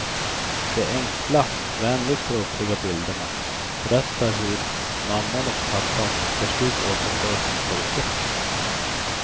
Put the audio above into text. De enkla, vänligt dråpliga bilderna berättar hur mamman och pappan till slut återfår sin pojke.